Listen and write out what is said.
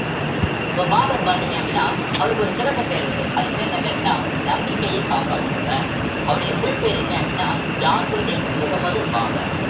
இப்ப பாபர் பார்த்தீங்க அப்படின்னா அவருக்கு ஒரு சிறப்பு பெயர் உண்டு அதுக்கு பேரு என்ன பேரு அப்படின்னா நம்பிக்கையை காப்பாற்றுபவர் அவருடைய full பேரு என்ன அப்படின்னா ஜாகிருதீன் முகமது பாபர்